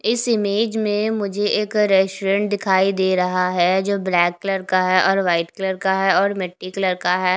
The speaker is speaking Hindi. इस इमेज में मुझे एक रेस्टोरेंट दिखाई दे रहा है जो ब्लैक कलर का है और वाइट कलर का है और मिट्टी कलर का है।